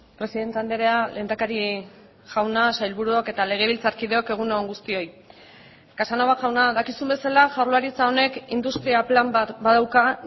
presidente andrea lehendakari jauna sailburuok eta legebiltzarkideok egun on guztioi casanova jauna dakizun bezala jaurlaritza honek industria plan bat badauka